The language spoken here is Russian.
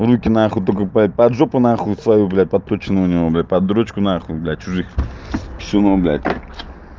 руки на хуй только по поджогу на хуй свою блядь подключены у него блядь под дрочку на хуй бля чужих всего бля